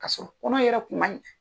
K'a sɔrɔ kɔnɔ yɛrɛ kun man ɲi.